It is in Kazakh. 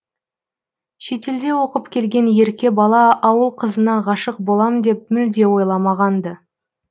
шетелде оқып келген ерке бала ауыл қызына ғашық болам деп мүлде ойламаған ды